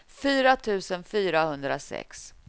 fyra tusen fyrahundrasex